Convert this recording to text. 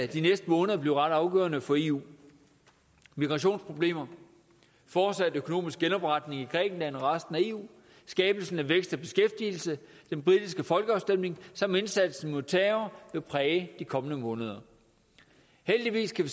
de næste måneder blive ret afgørende for eu migrationproblemer fortsat økonomisk genopretning i grækenland og resten af eu skabelsen af vækst og beskæftigelse den britiske folkeafstemning samt indsatsen mod terror vil præge de kommende måneder heldigvis kan